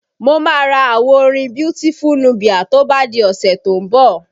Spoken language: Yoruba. Mo máa ra àwo orin Beautiful Nubia to bá di ọ̀sẹ̀ tó ń bọ̀